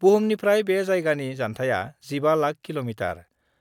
बुहुमनिफ्राय बे जायगानि जान्थाया 15 लाख किल'मिटार।